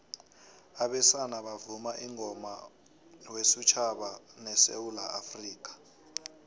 abesana bavuma ingoma wesutjhaba sesewula afrikha